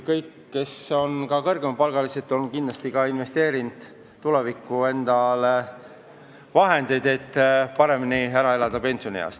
Kõik, kellel on kõrgem palk, on kindlasti investeerinud tuleviku tarbeks endale vahendeid, et pensionieas paremini ära elada.